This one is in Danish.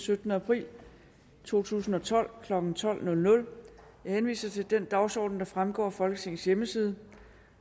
syttende april to tusind og tolv klokken tolv jeg henviser til den dagsorden der fremgår af folketingets hjemmeside